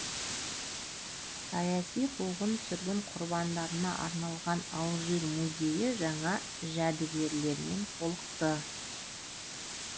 саяси қуғын сүргін құрбандарына арналған алжир музейі жаңа жәдігерлермен толықты